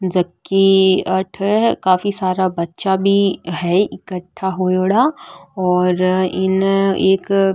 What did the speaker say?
जबकि अठे काफी सारा बच्चा भी है एकठा होयेड़ा और इने एक --